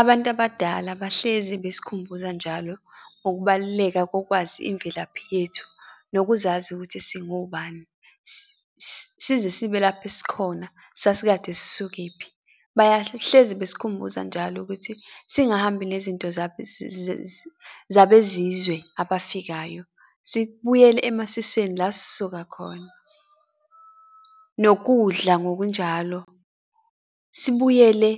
Abantu abadala bahlezi besikhumbuza njalo ukubaluleka kokwazi imvelaphi yethu, nokuzazi ukuthi singobani, size sibe lapho esikhona sasikade sisukephi? Bahlezi basikhumbuza njalo ukuthi singahambi nezinto zabezizwe abafikayo. Sibuyele emasisweni la sisuka khona. Nokudla ngokunjalo sibuyele